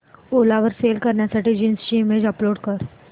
ओला वर सेल करण्यासाठी जीन्स ची इमेज अपलोड कर